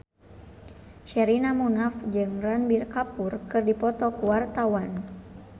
Sherina Munaf jeung Ranbir Kapoor keur dipoto ku wartawan